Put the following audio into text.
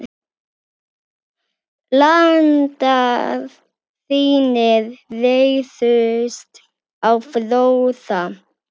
Landar þínir réðust á Fróða.